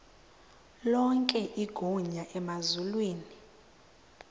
lonke igunya emazulwini